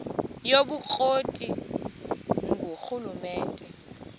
yobukro ti ngurhulumente